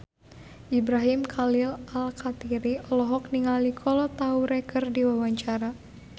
Ibrahim Khalil Alkatiri olohok ningali Kolo Taure keur diwawancara